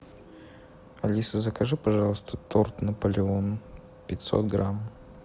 алиса закажи пожалуйста торт наполеон пятьсот грамм